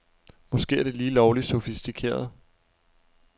Måske er det lige lovligt sofistikeret.